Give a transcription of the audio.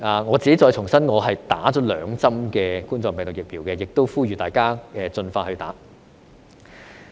我自己重申，我已經完成接種兩針冠狀病毒病的疫苗，我亦呼籲大家盡快接種。